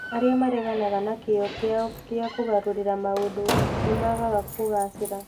Arĩa mareganaga na kĩyo kĩao gĩa kũgarũrĩra maũndũ nĩ maagaga kũgaacĩra.